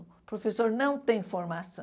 O professor não tem formação.